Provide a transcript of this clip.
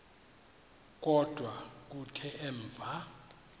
kodwa kuthe emva